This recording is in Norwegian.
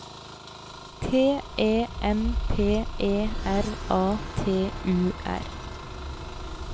T E M P E R A T U R